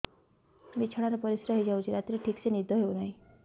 ବିଛଣା ରେ ପରିଶ୍ରା ହେଇ ଯାଉଛି ରାତିରେ ଠିକ ସେ ନିଦ ହେଉନାହିଁ